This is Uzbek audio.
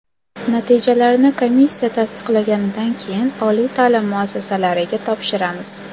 Natijalarni komissiya tasdiqlaganidan keyin oliy ta’lim muassasalariga topshiramiz.